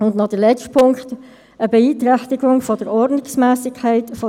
Heute ist der 26. November, und wir starten mit der Debatte zum Geschäftsbericht 2017.